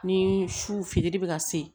Ni su firili bɛ ka se